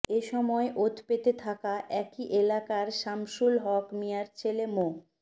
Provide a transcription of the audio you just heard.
এ সময় ওতপেতে থাকা একই এলাকার সামসুল হক মিয়ার ছেলে মো